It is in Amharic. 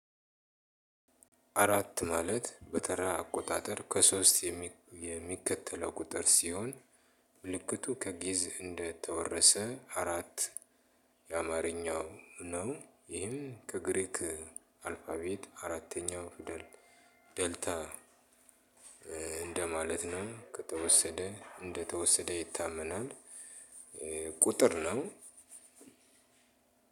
አራት ማለት በተራ አቆጣጠር ከሶስት የሚከተለው ቁጥር ሲሆን ምልክቱ ከጊዕዝ እንደተወረሰ አራት። የአማርኛው ነው። ይሄም ከግሪክ አልፋቤት አራተኛው ፍደል ደልታ። እንደማለት ነው ከተወሰደ እንደተወሰደ ይታመናል። ቁጥር ነው።